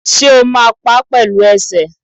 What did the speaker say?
Ṣé o máa pá pẹ̀lú ẹsẹ̀